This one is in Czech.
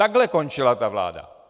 Takhle končila ta vláda.